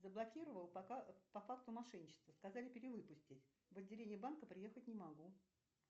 заблокировал по факту мошенничества сказали перевыпустить в отделение банка приехать не могу